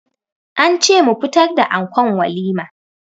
An ce mu fitar da ankon walima.